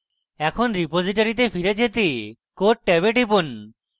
এখন রিপোজিটরীতে ফিরে যেতে code ট্যাবে টিপুন